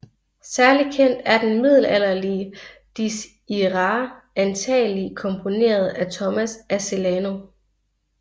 Særlig kendt er den middelalderlige Dies irae antagelig komponeret af Thomas af Celano